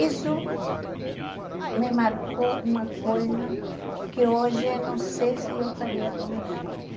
Isso me marcou uma coisa que hoje não sei se eu faria com meus filhos.